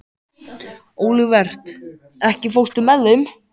Olivert, ekki fórstu með þeim?